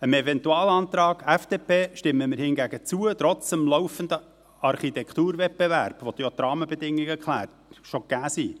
Dem Eventualantrag der FDP stimmen wir jedoch zu, trotz des laufenden Architekturwettbewerbs, bei dem die Rahmenbedingungen bereits gegeben sind.